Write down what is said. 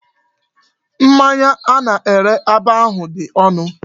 Mmanya a na-ere ebe ahu di onu.